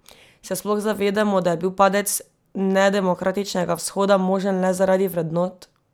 Se sploh zavedamo, da je bil padec nedemokratičnega Vzhoda možen le zaradi vrednot?